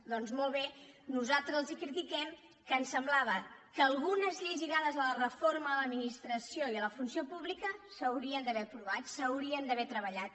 doncs molt bé nosaltres els critiquem que ens sem·blava que algunes lleis lligades a la reforma de l’ad·ministració i a la funció pública s’haurien d’haver aprovat s’haurien d’haver treballat